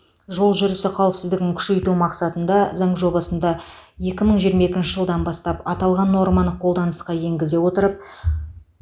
жол жүрісі қауіпсіздігін күшейту мақсатында заң жобасында екі мың жиырма екінші жылдан бастап аталған норманы қолданысқа енгізе отырып